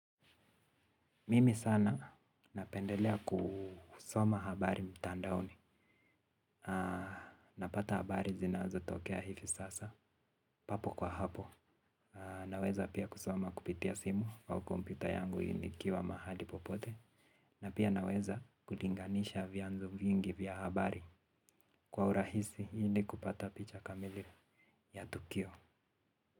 Mimi sana napendelea kusoma habari mtandaoni, napata habari zinazotokea hivi sasa, papo kwa hapo, naweza pia kusoma kupitia simu au kompyuta yangu nikiwa mahali popote, na pia naweza kulinganisha vyanzo vingi vya habari kwa urahisi hili kupata picha kamili ya tukio.